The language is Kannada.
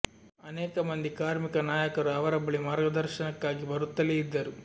ಅನೇಕ ಮಂದಿ ಕಾರ್ಮಿಕ ನಾಯಕರು ಅವರ ಬಳಿ ಮಾರ್ಗದರ್ಶನಕ್ಕಾಗಿ ಬರುತ್ತಲೇ ಇದ್ದರು